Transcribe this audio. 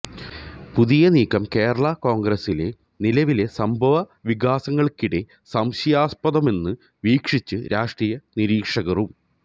പുതിയ നീക്കം കേരളാ കോണ്ഗ്രസിലെ നിലവിലെ സംഭവ വികാസങ്ങള്ക്കിടെ സംശയാസ്പദമെന്ന് വീക്ഷിച്ച് രാഷ്ട്രീയ നിരീക്ഷകരും